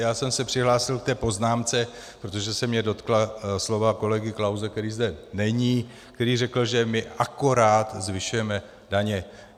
Já jsem se přihlásil k té poznámce, protože se mě dotkla slova kolegy Klause, který zde není, který řekl, že my akorát zvyšujeme daně.